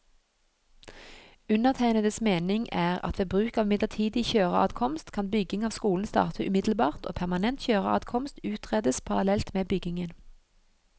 Undertegnedes mening er at ved bruk av midlertidig kjøreadkomst, kan bygging av skolen starte umiddelbart og permanent kjøreadkomst utredes parallelt med byggingen.